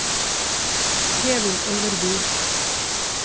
Kevin Øverby